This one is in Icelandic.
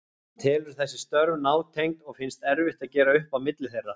Hann telur þessi störf nátengd og finnst erfitt að gera upp á milli þeirra.